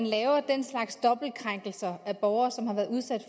laver den slags dobbelte krænkelser af borgere som har været udsat